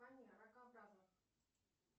ракообразных